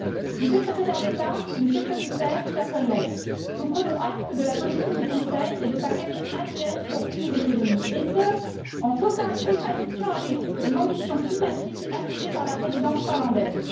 Monsieur le Secrétaire d'État, Monsieur le Commissaire, chers collègues, nous prenons acte de la position du Conseil et de sa quête annuelle pour plus d'économies et ce, en totale contradiction avec l'ambition climatique affichée par la Présidence finlandaise.